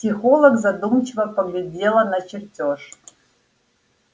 психолог задумчиво поглядела на чертёж